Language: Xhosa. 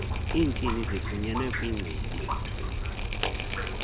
iintini zifunyenwe kwichibi